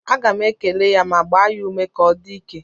Aga m ekele ya ma gbaa ya ume ka ọ dị ike